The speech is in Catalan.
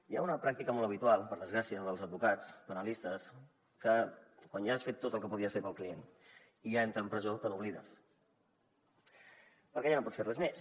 hi ha una pràctica molt habitual per desgràcia dels advocats penalistes que quan ja has fet tot el que podies fer pel client i ja entra a la presó te n’oblides perquè ja no pots fer res més